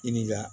I ni ga